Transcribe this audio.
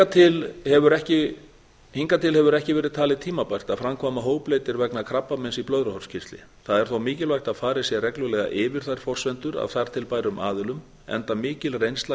við að vinna hingað til hefur ekki verið talið tímabært að framkvæma hópleitir vegna krabbameins í blöðruhálskirtli það er þó mikilvægt að farið sé reglulega yfir þær forsendur af þar til bærum aðilum enda mikil reynsla